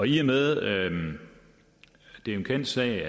i og med at det er en kendt sag